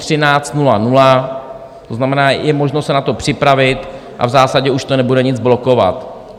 To znamená, je možno se na to připravit a v zásadě už to nebude nic blokovat.